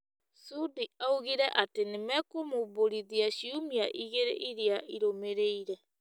Sudi oigire atĩ nĩ mekũmũmbũrithia ciumia igĩrĩ iria irũmĩrĩire .